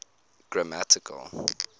grammatical